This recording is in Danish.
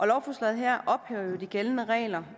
lovforslaget her ophæver jo de gældende regler